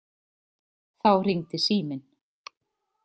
Þá hringdi síminn.